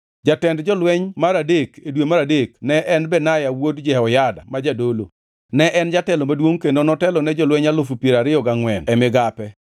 Jatend jolweny mar adek, e dwe mar adek ne en Benaya wuod Jehoyada ma jadolo. Ne en jatelo maduongʼ kendo notelo ne jolweny alufu piero ariyo gangʼwen (24,000) e migape.